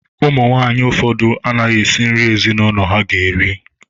Ụmụ nwaanyị ụfọdụ anaghị esị nri ezinụlọ ha ga-eri.